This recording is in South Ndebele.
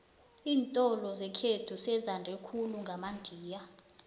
iintolo zekhethu sezande khulu ngamandiya